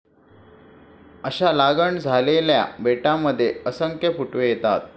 अशा लागण झालेल्या बेटांमध्ये असंख्य फुटवे येतात.